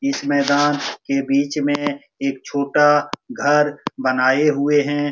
इस मैदान के बीच में एक छोटा घर बनाये हुए हैं।